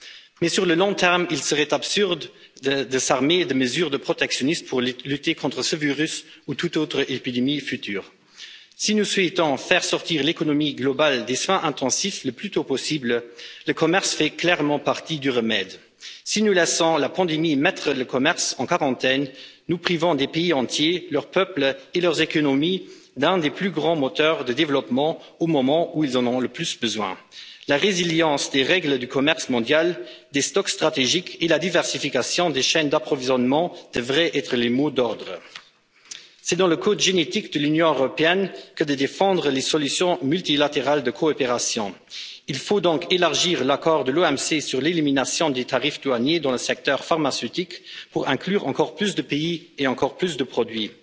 Mais sur le long terme, il serait absurde de s'armer de mesures protectionnistes pour lutter contre ce virus ou toute autre épidémie future. Si nous souhaitons faire sortir l'économie globale des soins intensifs le plus tôt possible, le commerce fait clairement partie du remède. Si nous laissons la pandémie mettre le commerce en quarantaine, nous privons des pays entiers, leurs peuples et leurs économies d'un des plus grands moteurs de développement, au moment où ils en ont le plus besoin. La résilience des règles du commerce mondial, des stocks stratégiques et la diversification des chaînes d'approvisionnement devraient être les mots d'ordre. C'est dans le code génétique de l'Union européenne que de défendre les solutions multilatérales de coopération. Il faut donc élargir l'accord de l'OMC sur l'élimination des tarifs douaniers dans le secteur pharmaceutique pour inclure encore plus de pays et encore plus de produits.